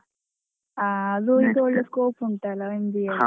ಹಾ ಅದು ಒಳ್ಳೆ scope ಉಂಟಲ್ಲ MBA ಗೆ.